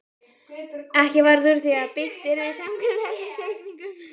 Ekki varð úr því að byggt yrði samkvæmt þessum teikningum.